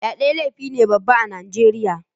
Fyaɗe laifi ne Baba ah Nijeriya.